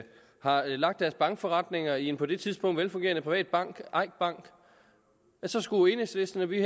har lagt deres bankforretninger i en på det tidspunkt velfungerende privat bank eik bank så skulle enhedslisten og vi